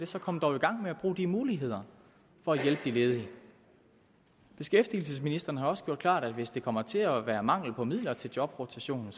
så kom dog i gang med at bruge de muligheder for at hjælpe de ledige beskæftigelsesministeren har også gjort klart at hvis der kommer til at være mangel på midler til jobrotation